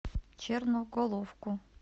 черноголовку